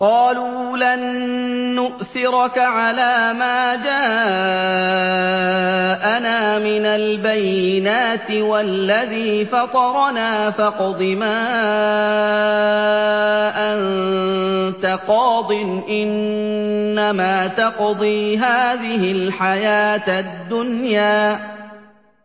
قَالُوا لَن نُّؤْثِرَكَ عَلَىٰ مَا جَاءَنَا مِنَ الْبَيِّنَاتِ وَالَّذِي فَطَرَنَا ۖ فَاقْضِ مَا أَنتَ قَاضٍ ۖ إِنَّمَا تَقْضِي هَٰذِهِ الْحَيَاةَ الدُّنْيَا